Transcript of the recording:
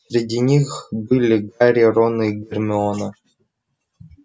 среди них были гарри рон и гермиона